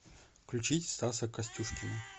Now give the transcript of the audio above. включить стаса костюшкина